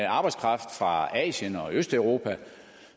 arbejdskraft fra asien og østeuropa